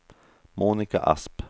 Monika Asp